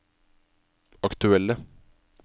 aktuelle